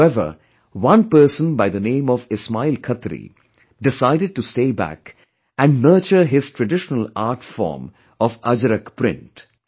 However, one person by the name of Ismail Khatri, decided to stay back and nurture his traditional art form of 'Ajrak print'